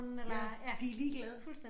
Ja de ligeglade